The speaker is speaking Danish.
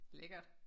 Lækkert